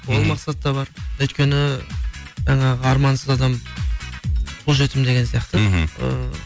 ол мақсат та бар өйткені жаңағы армансыз адам қу жетім деген сияқты мхм ы